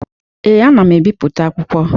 Ee, ana m ebipụta akwụkwọ.